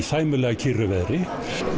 sæmilega kyrru veðri